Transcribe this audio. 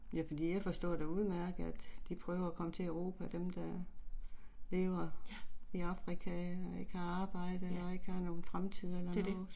Ja, ja, det er det